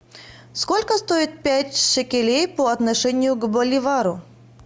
сколько стоит пять шекелей по отношению к боливару